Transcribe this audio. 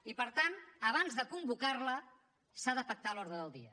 i per tant abans de convocarla s’ha de pactar l’ordre del dia